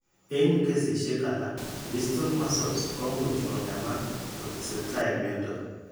Eng' kesisiek alak, distal muscles ko much kong'emak ko tesetai mnyando.